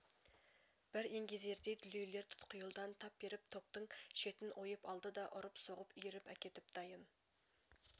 бір еңгезердей дүлейлер тұтқиылдан тап беріп топтың шетін ойып алады да ұрып-соғып иіріп әкетіп дайын